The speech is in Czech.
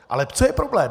Ale co je problém?